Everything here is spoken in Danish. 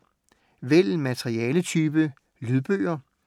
Vælg materialetype: lydbøger